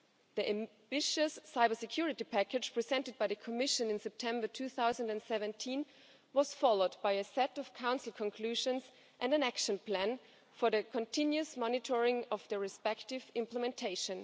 The ambitious Cybersecurity Package, presented by the Commission in September 2017, was followed by a set of Council conclusions and an action plan for the continuous monitoring of their respective implementation.